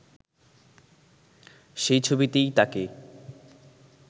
সেই ছবিতেই তাকে